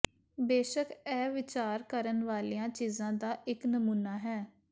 ਬੇਸ਼ੱਕ ਇਹ ਵਿਚਾਰ ਕਰਨ ਵਾਲੀਆਂ ਚੀਜ਼ਾਂ ਦਾ ਇੱਕ ਨਮੂਨਾ ਹੈ